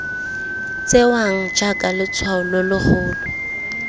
tsewang jaaka letshwao lo logolo